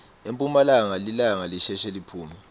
emphumalanga lilanga lisheshe liphume